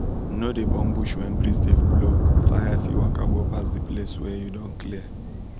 no dey burn bush when breeze dey blow fire fit waka go pass the place wey you don clear